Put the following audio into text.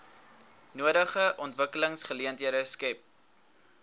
nodige ontwikkelingsgeleenthede skep